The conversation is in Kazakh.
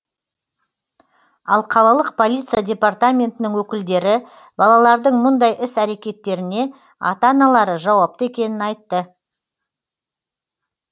ал қалалық полиция департаментінің өкілдері балалардың мұндай іс әрекеттеріне ата аналары жауапты екенін айтты